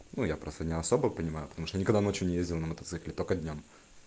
ну я просто не особо понимаю потому что никогда ночью не ездил на мотоцикле только днём